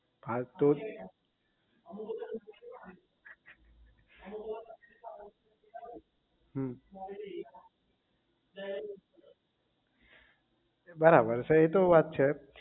હા તો હમ બરાબર છે એ તો વાત છે